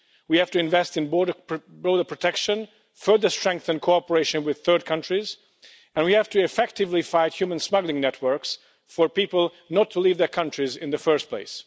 We have to invest in border protection, further strengthen cooperation with third countries, and we have to effectively fight human smuggling networks for people not to leave their countries in the first place.